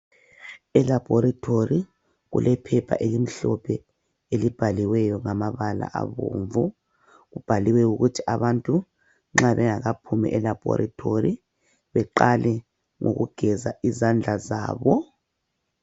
Elaboratory kulephepha elimhlophe elibhaliweyo ngamabala abomvu kubhaliwe ukuthi abantu nxa bengakaphumi elaboratory beqale ngokugeza izandla zabo.